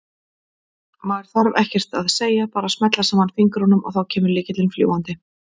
Maður þarf ekkert að segja, bara smella saman fingrunum og þá kemur lykillinn fljúgandi!